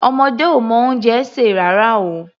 Ọmọdé ò mọ oúnjẹ sè rárá o.